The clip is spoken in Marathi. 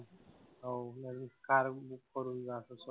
हो मी बी car book करून जातो स्वतः.